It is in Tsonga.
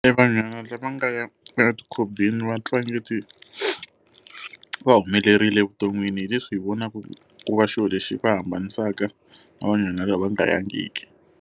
Evanhwana lava nga ya etikhobeni va twa ongeti va humelerile evuton'wini, hileswi hi vonaka ku va xona lexi va hambanisaka na vanhwanyana lava va nga yangiki.